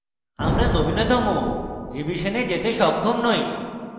আমরা নবীনতম revision যেতে সক্ষম we